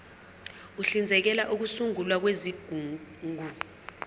uhlinzekela ukusungulwa kwezigungu